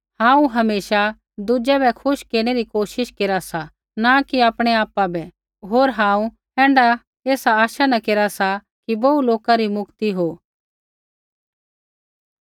हांऊँ हमेशा दुज़ै बै खुश केरनै री कोशिश केरा सा न कि आपणै आपा बै होर हांऊँ ऐण्ढा ऐसा आशा न केरा सा कि बोहू लोका री मुक्ति हो